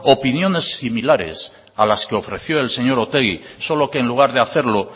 opiniones similares a las que ofreció el señor otegi solo que en lugar de hacerlo